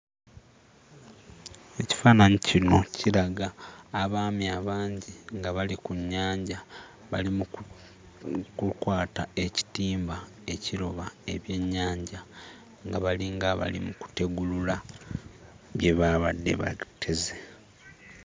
Ekifaananyi kino kiraga abaami abangi nga bali ku nnyanja bali mu ku mm kukwata ekitimba ekiroba ebyennyanja nga balinga abali mu kutegulula bye baabadde bateze.